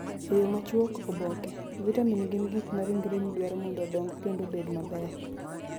E yo machuok:Oboke : Vitamin gin gik ma ringreni dwaro mondo odong kendo obed maber .